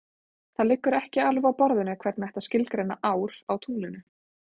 Það liggur ekki alveg á borðinu hvernig ætti að skilgreina ár á tunglinu.